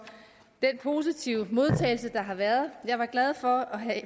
den positive modtagelse der har været jeg er glad for at have